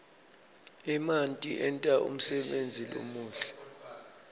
emanti enta umsebenti lomuhle